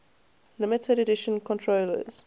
limited edition controllers